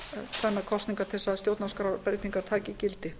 tvennar kosningar til að stjórnarskrárbreytingar taki gildi